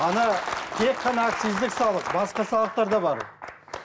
ана тек қана акциздік салық басқа салықтар да бар